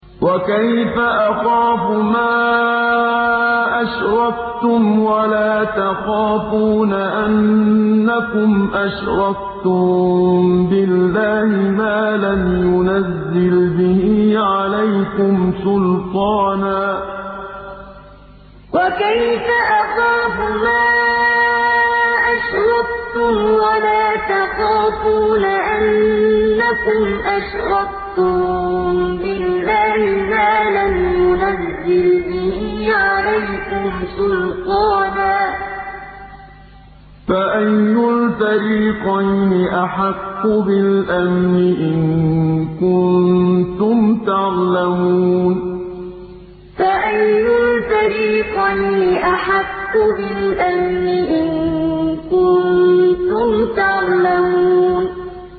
وَكَيْفَ أَخَافُ مَا أَشْرَكْتُمْ وَلَا تَخَافُونَ أَنَّكُمْ أَشْرَكْتُم بِاللَّهِ مَا لَمْ يُنَزِّلْ بِهِ عَلَيْكُمْ سُلْطَانًا ۚ فَأَيُّ الْفَرِيقَيْنِ أَحَقُّ بِالْأَمْنِ ۖ إِن كُنتُمْ تَعْلَمُونَ وَكَيْفَ أَخَافُ مَا أَشْرَكْتُمْ وَلَا تَخَافُونَ أَنَّكُمْ أَشْرَكْتُم بِاللَّهِ مَا لَمْ يُنَزِّلْ بِهِ عَلَيْكُمْ سُلْطَانًا ۚ فَأَيُّ الْفَرِيقَيْنِ أَحَقُّ بِالْأَمْنِ ۖ إِن كُنتُمْ تَعْلَمُونَ